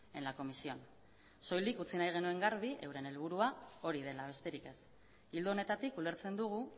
en la comisión soilik utzi nahi genuen garbi euren helburua hori dela besterik ez ildo honetatik ulertzen dugu